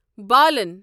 بالن